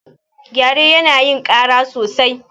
Gyare yana yin ƙara sosai.